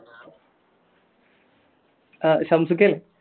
ആ ഷംസിക്ക അല്ലേ